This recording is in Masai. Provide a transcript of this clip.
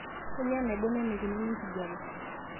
kainyioo enaibon eneikununo enkijiape